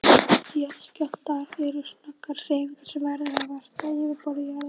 Jarðskjálftar eru snöggar hreyfingar sem verður vart á yfirborði jarðar.